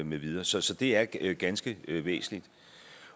med videre så så det er ganske væsentligt